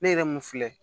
Ne yɛrɛ mun filɛ